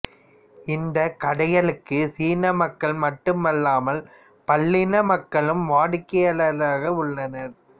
இந்தக் கடைகளுக்கு சீன மக்கள் மட்டுமல்லாமல் பல்லின மக்களும் வாடிக்கையாளராக உள்ளனர்